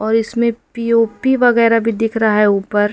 और इसमें पी_ओ_पी वगैरा भी दिख रहा है ऊपर।